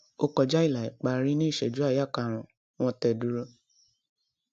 ó kọjá ilà ìparí ní ìṣẹjú àáyá karùnún wọn tẹ dúró